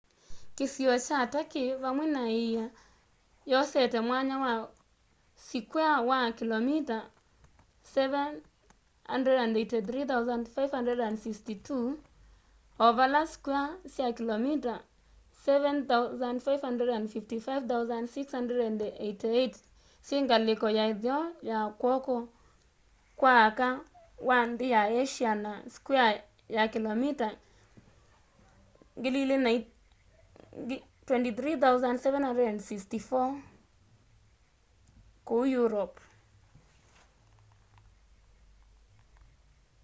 kîsio kya turkey vamwe na îia yosete mwanya wa sikwea wa kilomita 783,562 300,948 sq mi o vala sikwea sya kilomita 755,688 291,773 sq mi syingaliko ya itheo ya kwoko kwa aka wa nthi ya asia na sikwea sya kilomita 23,764 9,174 sq mi ku europe